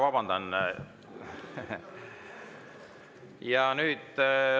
Vabandust!